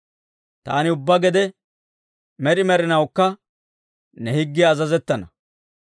Taani ubbaa gede, med'i med'inawukka ne higgiyaw azazettana.